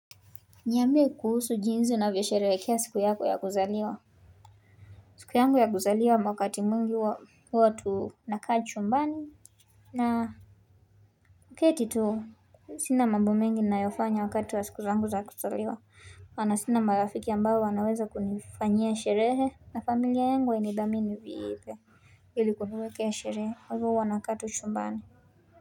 Niambie kuhusu jinsi unavyo sherehekea siku yako ya kuzaliwa siku yangu ya kuzaliwa wakati mingi huwa tunakaa chumbani na kuketi tu sina mambo mengi ninayofanya wakati wa siku zangu za kuzaliwa. Kwani sina marafiki ambao wanaweza kunifanyia sherehe na familia yangu wa hainidhamini viile ili kuniwekea sherehe kwa huwa nakaa tu chumbani.